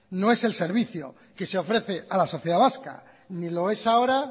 no es el servicio que se ofrece a la sociedad vasca ni lo es ahora